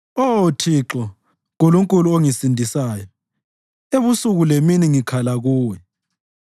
Oh Thixo, Nkulunkulu ongisindisayo, ebusuku lemini ngikhala kuwe.